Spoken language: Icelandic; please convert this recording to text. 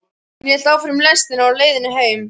Hann hélt áfram í lestinni á leiðinni heim.